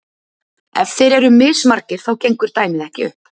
Ef þeir eru mismargir þá gengur dæmið ekki upp.